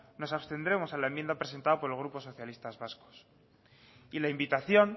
nos abstendremos a la enmienda presentada por el grupo socialistas vascos y la invitación